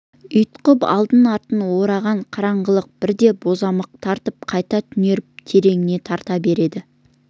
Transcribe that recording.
ұйтқып алды-артын ораған қараңғылық бірде бозамық тартып қайта түнеріп тереңіне тарта береді